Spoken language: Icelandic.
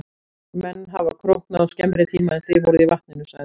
Menn hafa króknað á skemmri tíma en þið voruð í vatninu, sagði hann.